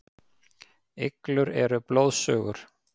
Iglur eru blóðsugur.